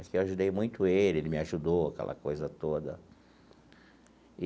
Aqui eu ajudei muito ele, ele me ajudou, aquela coisa toda.